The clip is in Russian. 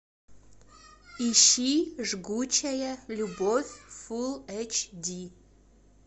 ищи жгучая любовь фулл эйч ди